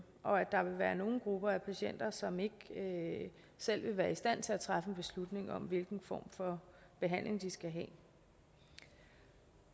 og at der vil være nogle grupper af patienter som ikke selv vil være i stand til at træffe en beslutning om hvilken form for behandling de skal have